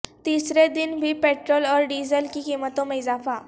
تیسرے دن بھی پٹرول اور ڈیزل کی قیمتوں میں اضافہ